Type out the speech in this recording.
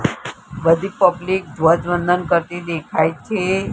બધી પબ્લિક ધ્વજવંદન કરતી દેખાય છે.